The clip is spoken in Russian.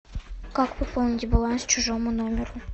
как пополнить баланс чужому номеру